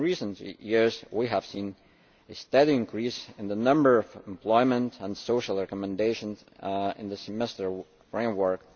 In recent years we have seen a steady increase in the number of employment and social recommendations in the Semester framework.